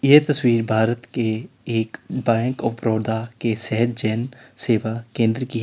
ये तस्वीर भारत के एक बैंक ऑफ़ बड़ौदा के सहज जन सेवा केंद्र की--